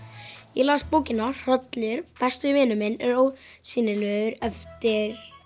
ég las bókina hrollur besti vinur minn er ósýnilegur eftir